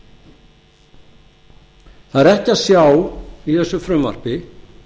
er ekki að sjá í þessu frumvarpi